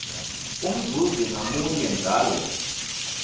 umzuzi ngamunye njalo